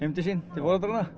til foreldra